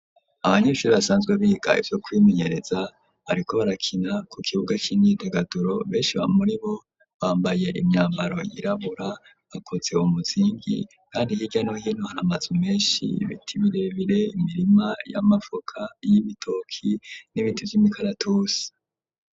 Abanyishuri basanzwe biga ivyo kwimenyereza, ariko barakina ku kibuga c'inyitagaduro, beshi ba muri bo bambaye imyambaro yirabura, bakoze umuzingi ,kandi hirya no hino hara mazu menshi, ibiti birebire ,imirima y'amavoka ,y'ibitoki, n'ibiti Vy'imikaratusi.